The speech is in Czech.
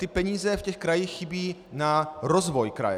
Ty peníze v těch krajích chybí na rozvoj kraje.